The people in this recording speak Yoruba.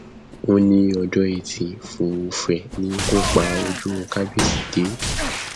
ó ní ọjọ etí furuufee ni ikú pa ojú kábíyèsí dé